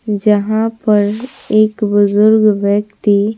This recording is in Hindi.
जहां पर एक बुजुर्ग व्यक्ति।